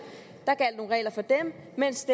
mens